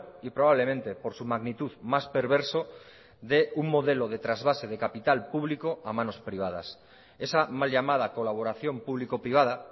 y probablemente por su magnitud más perverso de un modelo de trasvase de capital público a manos privadas esa mal llamada colaboración público privada